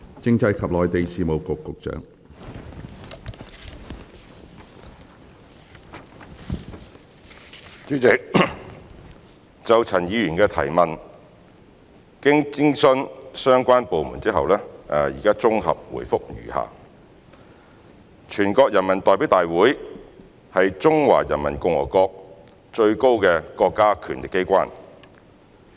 主席，就陳議員的質詢，經諮詢相關部門後，現綜合答覆如下。全國人民代表大會是中華人民共和國最高的國家權力機關。